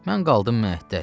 Mən qaldım məəttəl.